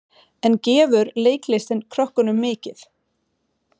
En gefur leiklistin krökkunum mikið?